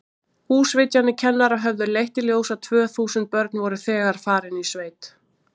Húsvitjanir kennara höfðu leitt í ljós að tvö þúsund börn voru þegar farin í sveit.